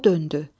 O döndü.